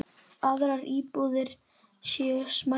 Aðrar íbúðir séu smærri.